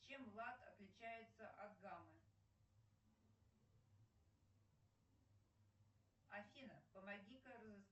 чем лад отличается от гаммы афина помоги